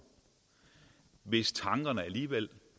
hvis tankerne alligevel